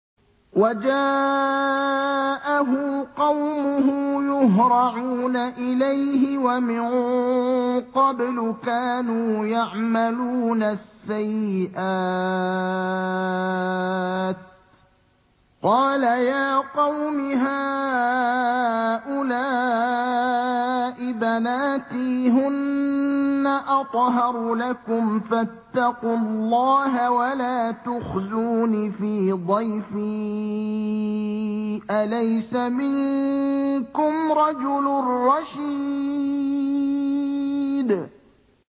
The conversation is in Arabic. وَجَاءَهُ قَوْمُهُ يُهْرَعُونَ إِلَيْهِ وَمِن قَبْلُ كَانُوا يَعْمَلُونَ السَّيِّئَاتِ ۚ قَالَ يَا قَوْمِ هَٰؤُلَاءِ بَنَاتِي هُنَّ أَطْهَرُ لَكُمْ ۖ فَاتَّقُوا اللَّهَ وَلَا تُخْزُونِ فِي ضَيْفِي ۖ أَلَيْسَ مِنكُمْ رَجُلٌ رَّشِيدٌ